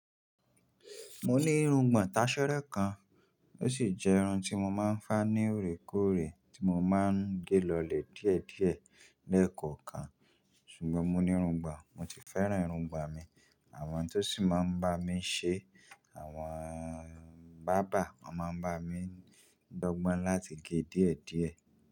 Mo ní irungbọ̀n tasẹ́rẹ́ kan, ó sì jẹ́ irun tí mo máa ń fá ní òrékóòrè tí mo máa ń gé lọlẹ̀ díẹ̀díẹ̀ lẹ́ẹ̀kọ̀kan. Ṣùgbọ́n mo ní irungbọ̀n, mo ti fẹ́ràn irungbọ̀n mi, àwọn tó sì máa ń bá mi ṣe, àwọn bàrbá máa ń bá mi gbọ́gbọ́n láti gé è díẹ̀díẹ̀